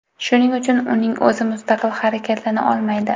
Shuning uchun, uning o‘zi mustaqil harakatlana olmaydi.